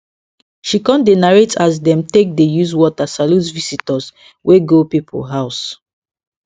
she con dey narrate as dem take dey use water salute visitors wey go people house